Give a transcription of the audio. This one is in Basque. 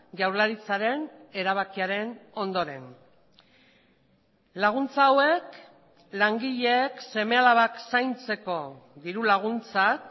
jaurlaritzaren erabakiaren ondoren laguntza hauek langileek seme alabak zaintzeko diru laguntzak